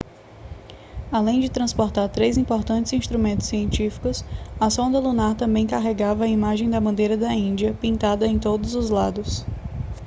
além de transportar três importantes instrumentos científicos a sonda lunar também carregava a imagem da bandeira da índia pintada em todos os lados